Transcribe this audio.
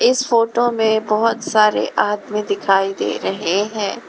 इस फोटो में बहोत सारे आदमी दिखाई दे रहे हैं।